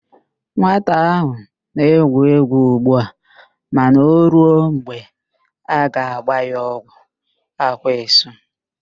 Nwata ahụ na-egwu égwú ugbu a mana o ruo mgbe a ga-agba ya ọgwụ, ákwá esu.